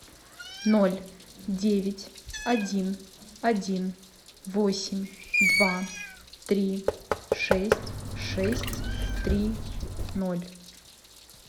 ноль девять один один восемь два три шесть шесть три ноль